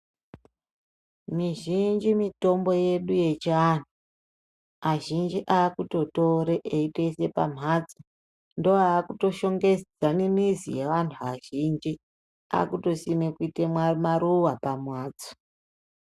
Mizhinji mitombo yedu yechiantu azhinji akutotore eitoise pamhatso ndoakutoshongedza mizi yeantu azhinji akutosime kuite maruwa pamhatso.